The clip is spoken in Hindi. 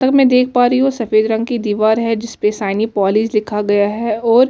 तब मैं देख पा रही हु सफेद रंग की दीवार है जिसमे शाइनी पॉलिश लिखा गया है और --